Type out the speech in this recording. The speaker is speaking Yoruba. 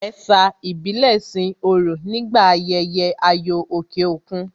Ẹ̀sà ìbílẹ̀ sin òrò nígbà ayẹyẹ ayò òkè òkun